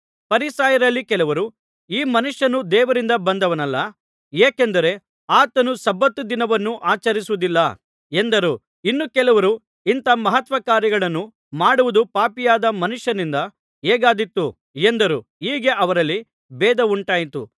ಫರಿಸಾಯರಲ್ಲಿ ಕೆಲವರು ಈ ಮನುಷ್ಯನು ದೇವರಿಂದ ಬಂದವನಲ್ಲ ಏಕೆಂದರೆ ಆತನು ಸಬ್ಬತ್ ದಿನವನ್ನು ಆಚರಿಸುವುದಿಲ್ಲ ಎಂದರು ಇನ್ನು ಕೆಲವರು ಇಂಥಾ ಮಹತ್ಕಾರ್ಯಗಳನ್ನು ಮಾಡುವುದು ಪಾಪಿಯಾದ ಮನುಷ್ಯನಿಂದ ಹೇಗಾದೀತು ಎಂದರು ಹೀಗೆ ಅವರಲ್ಲಿ ಭೇದವುಂಟಾಯಿತು